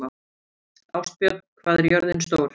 Ástbjörn, hvað er jörðin stór?